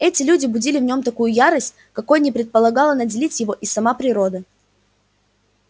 эти люди будили в нем такую ярость какой не предполагала наделить его и сама природа